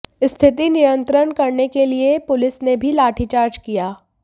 स्थिति नियंत्रण करने के लिए पुलिस ने भी लाठीचार्ज किया